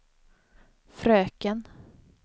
fröken